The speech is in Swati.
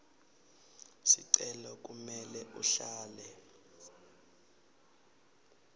sicelo kumele uhlale